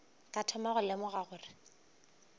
ka thoma go lemoga gore